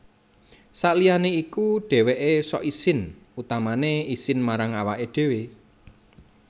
Saliyané iku dhèwèké sok isin utamané isin marang awaké dhéwé